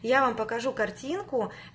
я вам покажу картинку